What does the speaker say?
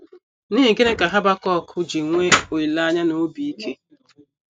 N’ihi gịnị ka Habakuk ji nwee olileanya na obi ike?